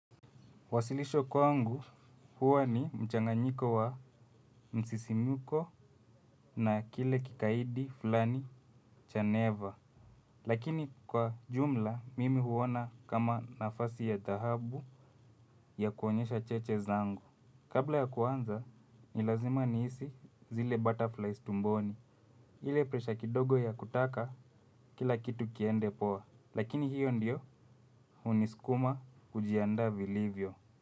Wasilisho kwangu huwa ni mchanganyiko wa msisimko na kile kikaidi fulani cha neva. Lakini kwa jumla mimi huona kama nafasi ya dhahabu ya kuonyesha cheche zangu. Kabla ya kuanza ni lazima nihisi zile butterflies tumboni. Ile presha kidogo ya kutaka kila kitu kiende poa lakini hiyo ndiyo hunisukuma kujiandaa vilivyo.